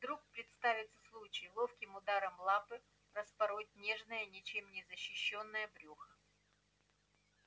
вдруг представится случай ловким ударом лапы распороть нежное ничем не защищённое брюхо